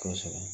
Kosɛbɛ